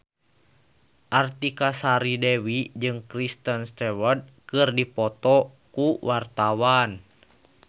Artika Sari Devi jeung Kristen Stewart keur dipoto ku wartawan